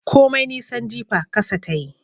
Komai nisan jifa kasa ta yi